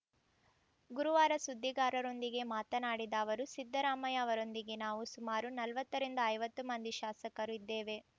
ಗುರುವಾರ ಸುದ್ದಿಗಾರರೊಂದಿಗೆ ಮಾತನಾಡಿದ ಅವರು ಸಿದ್ದರಾಮಯ್ಯ ಅವರೊಂದಿಗೆ ನಾವು ಸುಮಾರು ನಲವತ್ತರಿಂದ ಐವತ್ತು ಮಂದಿ ಶಾಸಕರು ಇದ್ದೇವೆ